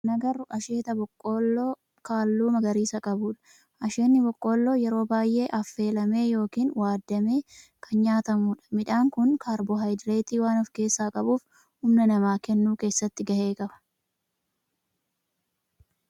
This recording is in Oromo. Suuraa kana irratti kan agarru asheeta boqqoolloo halluu magariisa qabudha. Asheenni boqqoolloo yeroo baayyee affeelamee yookin waaddamee kan nyaatamudha. Midhaan kun kaarboohayidireetii waan of keessaa qabuf humna namaa kennuu keessatti gahee qaba.